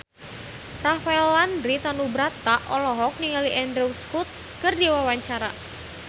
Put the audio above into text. Rafael Landry Tanubrata olohok ningali Andrew Scott keur diwawancara